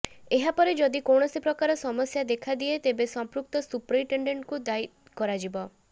ଏହାପରେ ଯଦି କୌଣସି ପ୍ରକାର ସମସ୍ୟା ଦେଖାଦିଏ ତେବେ ସଂପୃକ୍ତ ସୁପରିଟେଣ୍ଡେଣ୍ଟଙ୍କୁ ଦାୟୀ କରାଯିବ